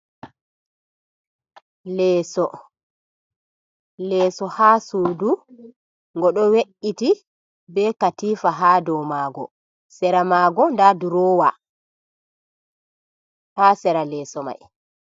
Leeso ha sudu ngo ɗo we’iti be katifa ha dou maago sera maago nda durowa ha sera leeso mai.